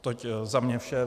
Toť za mě vše.